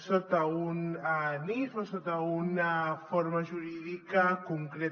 sota un nif o sota una forma jurídica concreta